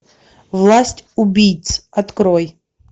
власть убийц открой